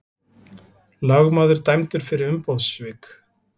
Lögmaður dæmdur fyrir umboðssvik